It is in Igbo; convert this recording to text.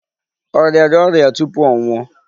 Ọ rịara ọrịa tupu ọ nwuọ?